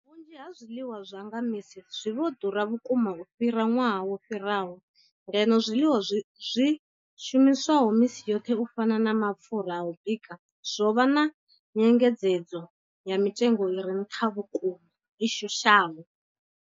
Vhunzhi ha zwiḽiwa zwa nga misi zwi vho ḓura vhukuma u fhira ṅwaha wo fhiraho, ngeno zwiḽiwa zwi shumiswaho misi yoṱhe u fana na mapfhura a u bika zwo vha na nyengedzedzo ya mitengo i re nṱha vhukuma i shushaho.